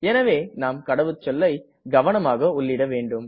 எனவே நாம் கடவுச்சொல்லை கவனமாக உள்ளிட வேண்டும்